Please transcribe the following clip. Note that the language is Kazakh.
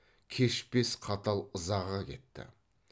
кешпес қатал ызаға кетті